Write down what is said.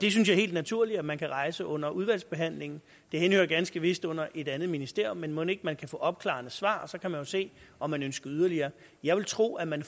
helt naturligt at man kan rejse under udvalgsbehandlingen det henhører ganske vist under et andet ministerium men mon ikke man kan få opklarende svar og så kan man se om man ønsker yderligere jeg vil tro at man